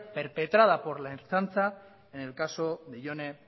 perpetrada por la ertzaintza en el caso de jone